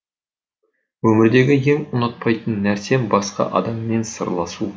өмірдегі ең ұнатпайтын нәрсем басқа адаммен салыстыру